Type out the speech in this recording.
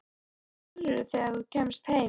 Hvað gerirðu þegar þú kemst heim?